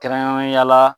Kɛrɛnkɛrɛnnenya la